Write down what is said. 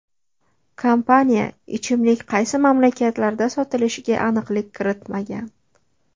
Kompaniya ichimlik qaysi mamlakatlarda sotilishiga aniqlik kiritmagan.